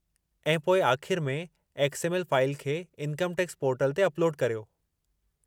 ऐं पोइ आख़िरि में एक्स. एम. एल. फ़ाइलु खे इनकम टैक्स पोर्टल ते अपलोडु करियो।